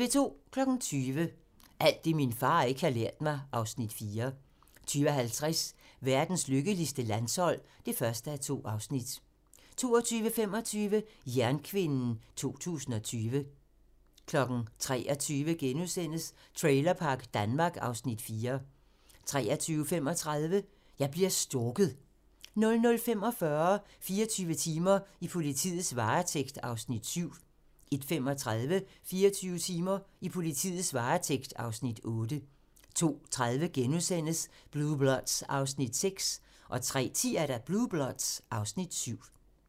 20:00: Alt det, min far ikke har lært mig (Afs. 4) 20:50: Verdens lykkeligste landshold (1:2) 22:25: Jernkvinden 2020 23:00: Trailerpark Danmark (Afs. 4)* 23:35: Jeg bliver stalket 00:45: 24 timer: I politiets varetægt (Afs. 7) 01:35: 24 timer: I politiets varetægt (Afs. 8) 02:30: Blue Bloods (Afs. 6)* 03:10: Blue Bloods (Afs. 7)